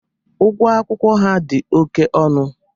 Ugwọ akwụkwọ ha dị oke ọnụ.